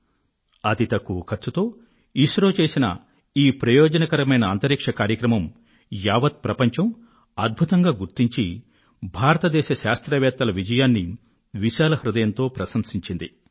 ఇస్రో అతి తక్కువ ఖర్చుతో దక్షతతో నిర్వహించిన ఈ అంతరిక్ష కార్యక్రమం యావత్ ప్రపంచంలో ఒక అద్భుతంగా మారింది భారతదేశ శాస్త్రవేత్తలు సాధించిన ఈ విజయాన్ని మొత్తం ప్రపంచం విశాల హృదయంతో ప్రశంసించింది